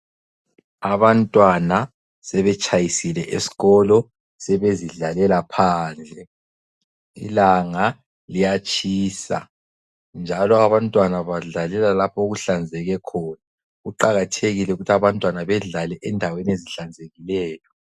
Abantwana sebetshayisile esikolo sebezidlalela phandle. Ilanga liyatshisa njalo abantwana badlalela lapho okuhlanzeke khona. Kuqakathekile ukuthi abantwana bedlale endaweni ezihlanzekileyo.